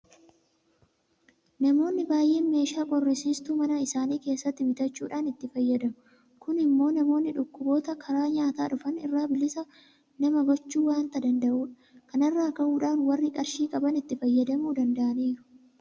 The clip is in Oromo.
Namoonni baay'een meeshaa qorrisiistuu mana isaanii keessatti bitachuudhaan itti fayyadamu. Kun immoo namoonni dhukkuboota karaa nyaataa dhufan irraa bilisa nama gochuu waanta danda'udha. Kana irraa ka'uudhaan warri qarshii qaban itti fayyadamuu danda'aniiru.